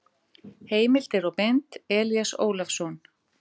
Heimildir og mynd: Elías Ólafsson.